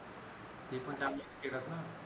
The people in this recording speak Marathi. ती पण चांगली खेळत ना